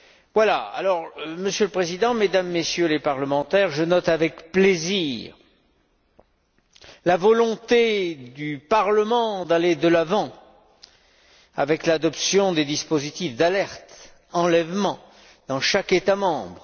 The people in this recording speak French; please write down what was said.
Voilà. Monsieur le Président, Mesdames, Messieurs les parlementaires, je note avec plaisir la volonté du Parlement d'aller de l'avant avec l'adoption des dispositifs d'alerte enlèvement dans chaque État membre.